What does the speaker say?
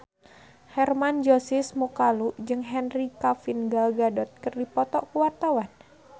Hermann Josis Mokalu jeung Henry Cavill Gal Gadot keur dipoto ku wartawan